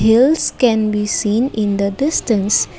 hills can be seen in the distance.